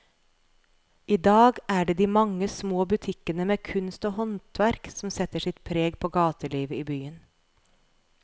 I dag er det de mange små butikkene med kunst og håndverk som setter sitt preg på gatelivet i byen.